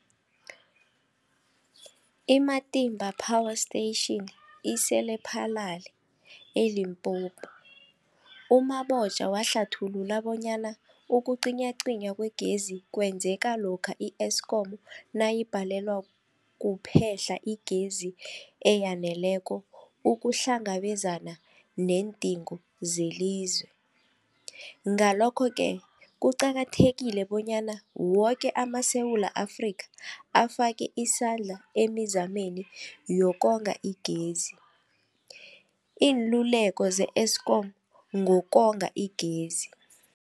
I-Matimba Power Station ise-Lephalale, eLimpopo. U-Mabotja wahlathulula bonyana ukucinywacinywa kwegezi kwenzeka lokha i-Eskom nayibhalelwa kuphe-hla igezi eyaneleko ukuhlangabezana neendingo zelizwe. Ngalokho-ke kuqakathekile bonyana woke amaSewula Afrika afake isandla emizameni yokonga igezi. Iinluleko ze-Eskom ngokonga igezi.